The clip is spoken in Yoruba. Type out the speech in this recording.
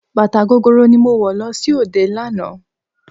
Bàtà gogoro ni mo wọ̀ lọ sí òde lánàá.